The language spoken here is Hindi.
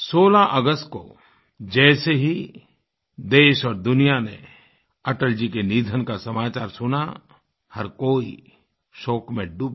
16 अगस्त को जैसे ही देश और दुनिया ने अटल जी के निधन का समाचार सुना हर कोई शोक में डूब गया